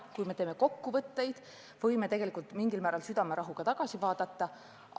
Kui me teeme kokkuvõtteid, võime tegelikult mingil määral südamerahuga tagasi vaadata.